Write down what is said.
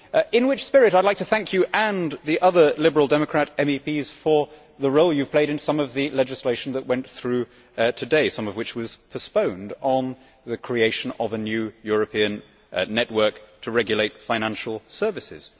In that spirit, I would like to thank you and the other Liberal Democrat MEPs for the role you have played in some of the legislation that went through today some of which was postponed on the creation of a new European network to regulate financial services.